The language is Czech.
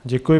Děkuji.